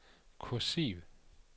kursiv